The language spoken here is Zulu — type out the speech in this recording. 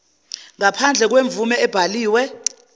ngaphandle kwemvume ebhaliwe